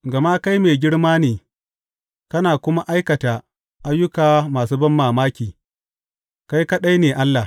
Gama kai mai girma ne kana kuma aikata ayyuka masu banmamaki; kai kaɗai ne Allah.